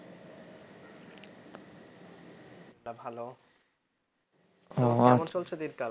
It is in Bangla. ভাল। কেমন চলছে দিনকাল?